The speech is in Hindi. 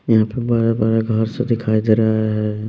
यहाँ पे बड़े-बड़े घर सा दिखाई दे रहा है।